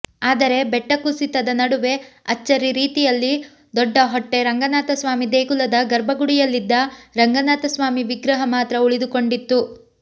ಆದರೆ ಬೆಟ್ಟ ಕುಸಿತದ ನಡುವೆ ಅಚ್ಚರಿ ರೀತಿಯಲ್ಲಿ ದೊಡ್ಡಹೊಟ್ಟೆ ರಂಗನಾಥಸ್ವಾಮಿ ದೇಗುಲದ ಗರ್ಭಗುಡಿಯಲ್ಲಿದ್ದ ರಂಗನಾಥಸ್ವಾಮಿ ವಿಗ್ರಹ ಮಾತ್ರ ಉಳಿದುಕೊಂಡಿತ್ತು